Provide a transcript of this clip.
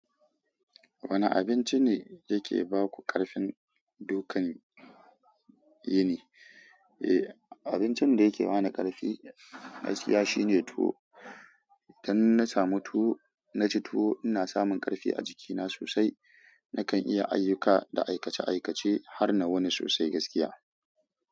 Wane abinci ne yake ba ku ƙarfin dokan? Eh, abincin da yake ba ni ƙarfi gaskiya shine tuwo. Idan na samu tuwo, na ci tuwo, ina samun ƙarfi a jikina sosai. Nakan iya ayyuka da aikace-aikace har na wani sosai gaskiya.